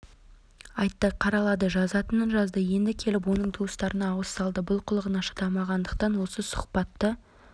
айтты қаралады жазатынын жазды енді келіп оның туыстарына ауыз салды бұл қылығына шыдамағандықтан осы сұхбатты